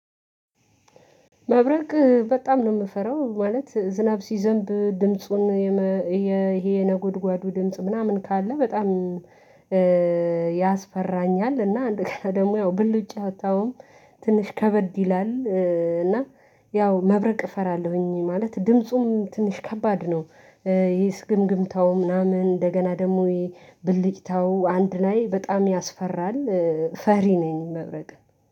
ማብረቅ በጣም ነው የምፈራው ማለት ዝናብ ሲዘንብ ድምጹን የነጎድጓዱ ነጎድጓዱ ድምጽ ምናምን ካለ በጣም ያስፈራኛል። እና አንድ ቀን ደግሞ ያው ብልጭታውም ትንሽ ከበድ ይላል እና ያው መብረቅ እፈራለሁኝ። ማለት ድምፁም ትንሽ ከባድ ነው። ይሄስ ግምግምታው ምናምን እንደገና ደግሞ የብልጭታው አንድ ላይ በጣም ያስፈራል። ፈሪ ነኝ መብረቅን